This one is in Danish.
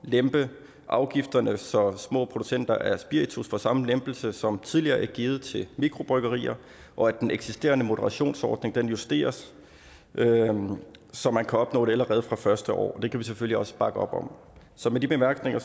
lempe afgifterne så små producenter af spiritus får den samme lempelse som tidligere er blevet givet til mikrobryggerier og at den eksisterende moderationsordning justeres så man kan opnå det allerede fra det første år og det kan vi selvfølgelig også bakke op om så med de bemærkninger